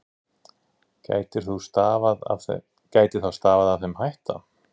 Getur þá stafað af þeim hætta